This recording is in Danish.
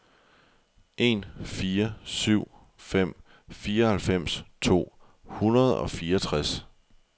en fire syv fem fireoghalvfems to hundrede og fireogtres